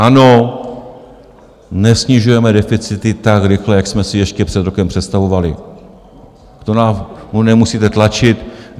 Ano, nesnižujeme deficity tak rychle, jak jsme si ještě před rokem představovali, to nám nemusíte tlačit.